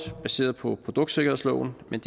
er baseret på produktsikkerhedsloven men